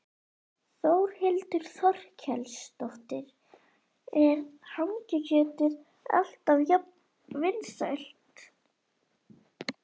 Þórhildur Þorkelsdóttir: Er hangikjötið alltaf jafn vinsælt?